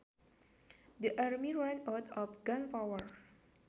The army ran out of gunpower